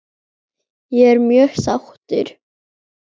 Ég er mjög sáttur.